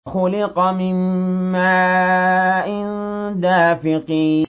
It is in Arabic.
خُلِقَ مِن مَّاءٍ دَافِقٍ